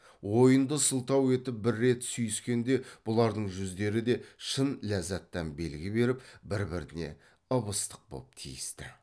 ойынды сылтау етіп бір рет сүйіскенде бұлардың жүздері де шын ләззаттан белгі беріп бір біріне ып ыстық боп тиісті